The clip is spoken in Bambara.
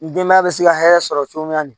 Ni denbaya bɛ se ka hɛrɛ sɔrɔ cogo min na